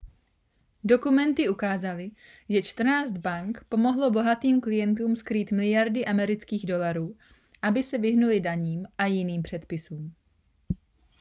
dokumenty ukázaly že čtrnáct bank pomohlo bohatým klientům skrýt miliardy amerických dolarů aby se vyhnuli daním a jiným předpisům